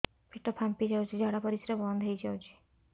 ପେଟ ଫାମ୍ପି ଯାଉଛି ଝାଡା ପରିଶ୍ରା ବନ୍ଦ ହେଇ ଯାଉଛି